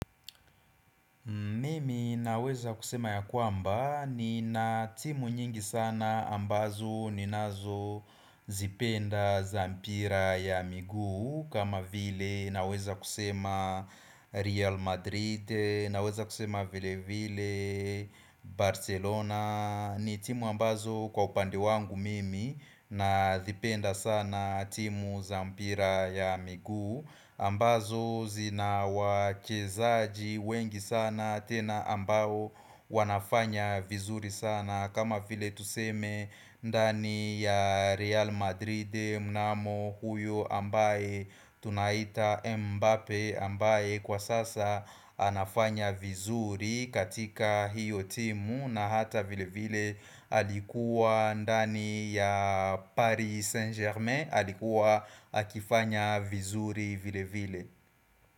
Mimi naweza kusema ya kwamba nina timu nyingi sana ambazo ninazozipenda za mpira ya migu kama vile naweza kusema Real Madrid naweza kusema vile vile Barcelona ni timu ambazo kwa upande wangu mimi na dhipenda sana timu za mpira ya migu ambazo zina wachezaji wengi sana tena ambao wanafanya vizuri sana kama file tuseme ndani ya Real Madrid mnamo huyo ambaye tunaita Mbappe ambaye kwa sasa anafanya vizuri katika hiyo timu na hata vile vile alikuwa ndani ya Paris Saint Germain alikuwa akifanya vizuri vile vile.